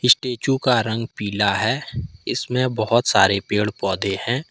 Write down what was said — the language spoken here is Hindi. स्टेचू का रंग पीला है इसमें बहोत सारे पेड़ पौधे हैं।